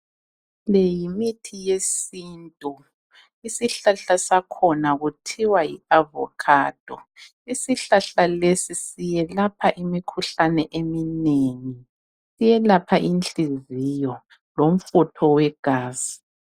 Le yimithi yesintu isihlahla sakhona kuthiwa yi avocado isihlahla lesi siyelapha imikhuhlane eminengi siyelapha inhliziyo lomfutho wegazi.